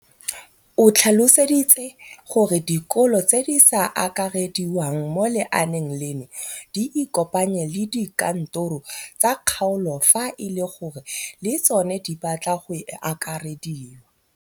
O tlhalositse gore dikolo tse di sa akarediwang mo lenaaneng leno di ikopanye le dikantoro tsa kgaolo fa e le gore le tsona di batla go akarediwa.